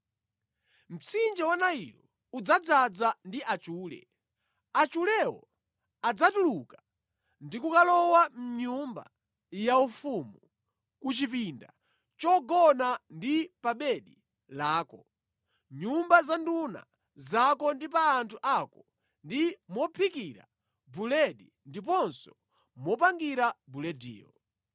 Mtsinje wa Nailo udzadzaza ndi achule. Achulewo adzatuluka ndi kukalowa mʼnyumba yaufumu, ku chipinda chogona ndi pa bedi lako, mʼnyumba za nduna zako ndi pa anthu ako ndi mophikira buledi ndiponso mopangira bulediyo.